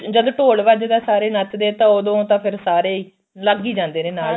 ਜਦ ਢੋਲ ਵੱਜਦਾ ਸਾਰੇ ਨੱਚਦੇ ਆ ਤਾਂ ਉਦੋਂ ਤਾਂ ਫਿਰ ਸਾਰੇ ਲੱਗ ਹੀ ਜਾਂਦੇ ਨੇ ਨਾਲ